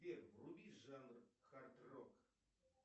сбер вруби жанр хард рок